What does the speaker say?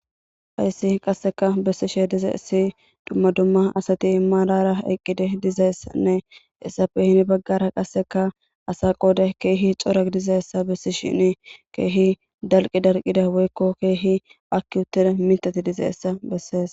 Haysi qaseka besishe dizaysazi duma duma asati maarara eqidi dizaysanne hesappe heni bagara ASA qoday daro gididaysa besishin keehi dalqi dalqidaysa woyko keehi aaki uttida mithati dizaysa besses.